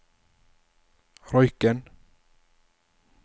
Røyken